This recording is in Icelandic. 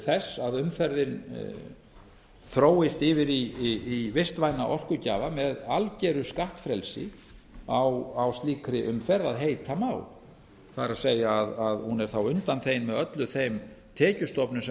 þess að umferðin þróist yfir í vistvæna orkugjafa með algeru skattfrelsi á slíkri umferð að heita má það er að hún er þá undanþegin með öllu þeim tekjustofnum sem